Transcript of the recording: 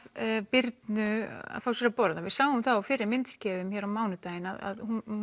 Birnu að fá sér að borða við sjáum það á fyrri myndskeiðum á mánudaginn að hún